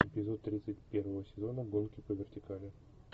эпизод тридцать первого сезона гонки по вертикали